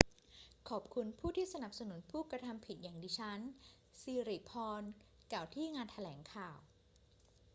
ขอบคุณผู้ที่สนับสนุนผู้กระทำผิดอย่างดิฉัน ศิริพรกล่าวที่งานแถลงข่าว